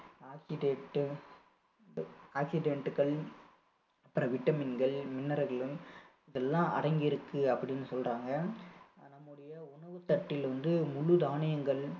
அப்பறம் vitamin கள் அப்பறம் mineral கள் எல்லாம் அடங்கியிருக்கு அப்படின்னு சொல்றாங்க நம்முடைய உணவு தட்டில் வந்து முழு தானியங்கள்